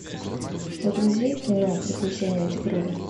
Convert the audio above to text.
загрузи кино приключения тигрули